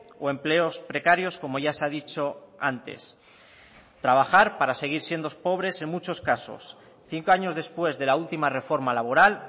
o empleos precarios como ya se ha dicho antes trabajar para seguir siendo pobres en muchos casos cinco años después de la última reforma laboral